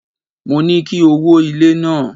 Mo ní kí o wó ilé náà.